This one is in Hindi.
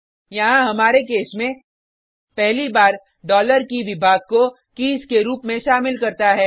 यहाँ हमारे केस में पहली बार डॉलर कीके विभाग को कीज़ के रुप में शामिल करता है